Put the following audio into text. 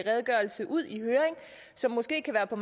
redegørelse ud i høring som måske kan være på